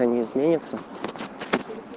а не изменится